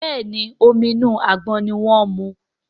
Béèni Omi inú àgbọn ní wón mu.